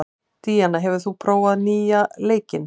Díanna, hefur þú prófað nýja leikinn?